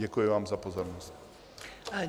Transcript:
Děkuji vám za pozornost.